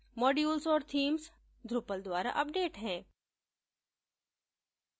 modules और themes drupal द्वारा update हैं